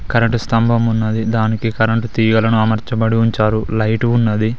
Current స్తంభం ఉన్నది దానికి కరెంటు తీగలను అమర్చబడి ఉంచారు లైట్ ఉన్నది.